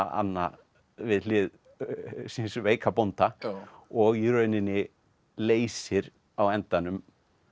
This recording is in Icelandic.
Anna við hlið síns veika bónda og í rauninni leysir á endanum